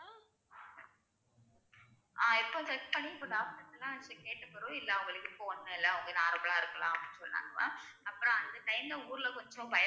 ஆஹ் இப்ப test பண்ணி doctor கிட்டலாம் கேட்டப் பிறவு இல்லை இப்ப அவுங்களுக்கு ஒண்ணும் இல்ல அவங்க normal ஆ இருக்கலாம் அப்படி சொன்னாங்கலாம் அப்பறம் அந்த time ல ஊர்ல கொஞ்சம் பயம்